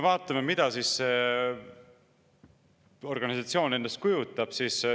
Vaatame, mida see organisatsioon endast kujutab.